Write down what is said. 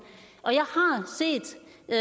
jeg